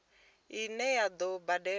ine a ḓo i badela